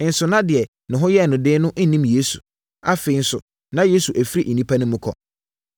Nso na deɛ ne ho yɛɛ no den no nnim Yesu. Afei, nso na Yesu afiri nnipa no mu kɔ.